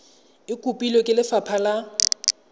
e kopilwe ke lefapha la